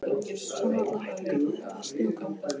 Samt varla hægt að kalla þetta snjókomu.